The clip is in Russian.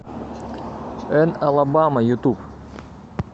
эн алабама ютуб